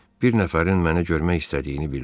Bir nəfərin mənə görmək istədiyini bildirdi.